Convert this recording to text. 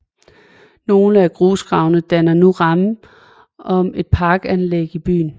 Nogle af grusgravene danner nu rammen om et parkanlæg i byen